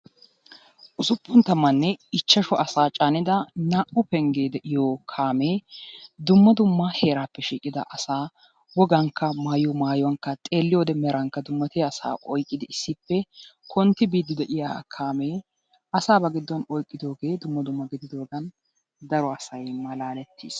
Usuppun tammane ichchashshu asaa caanida naa"u penggee de'iyoo kaamee dumma dumma heraappe shiiqida asaa wogankka xeelliyoo xeelankka mayuwaankka dummatiyaa asaa oyqqidi issippe kontti biidi de'iyaa kaamee asaa ba giddon oyqqidoogee dumma dumma gidoogan daruwaa asay malaalettiis.